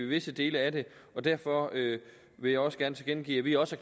visse dele af det og derfor vil jeg også gerne tilkendegive at vi også